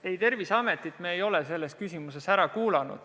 Ei, Terviseametit ei ole me selles küsimuses ära kuulanud.